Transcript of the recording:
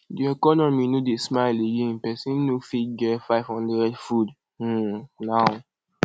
de economy no dey smile again pesin no fit get 500 food um now